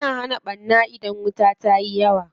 Yana hana ɓarna idan wuta yayi yawa.